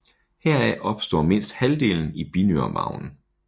Heraf opstår mindst halvdelen i binyremarven